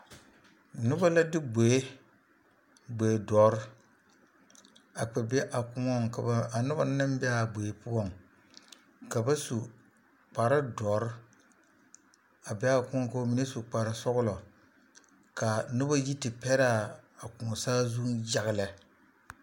Noba la de gboe, gboe dɔre a kpɛ be a kõɔŋ ka ba, ka a noba naŋ be a gboe poɔŋ ka ba su kpare dɔre a be a kõɔŋ k'o mine su kpare sɔgelɔ k'a noba yi te pɛre a kõɔ saazuŋ yaga lɛ.